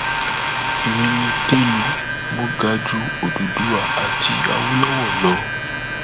èmi ni telu mọ ga ju òdúdúwa àti àwolowo lọ